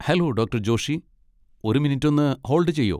Hello doctor Joshi. ഒരു minute ഒന്ന് hold ചെയ്യോ?